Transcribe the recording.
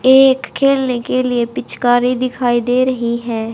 एक खेलने के लिए पिचकारी दिखाई दे रही है।